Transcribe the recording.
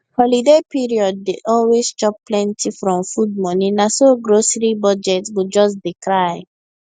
holiday period dey always chop plenty from food money na so grocery budget go just dey cry